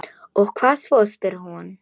Og hvað svo, spyr hún.